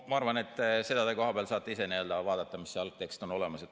Ma arvan, et seda te kohapeal saate ise vaadata, mis see algtekst on.